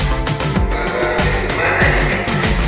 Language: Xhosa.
bantwana befumana iingxaki